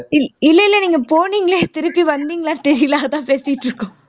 இல்ல இல்ல நீங்க போனீங்களே திருப்பி வந்திங்களா அதான் பேசிட்டுருக்கோம்